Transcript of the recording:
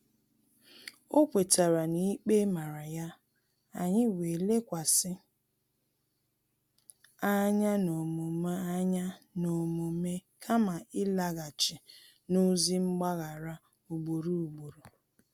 O kwetara na-ikpe mara ya, anyị wee lekwasị anya n’omume anya n’omume kama ịlaghachi n’ozị mgbaghara ugboro ugboro